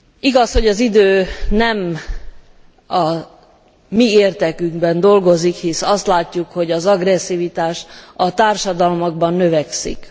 Igaz, hogy az idő nem a mi érdekünkben dolgozik, hisz azt látjuk, hogy az agresszivitás a társadalmakban növekszik.